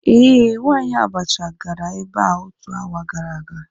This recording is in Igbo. Ee, nwanyi abacha gara ebea otu hour gara aga.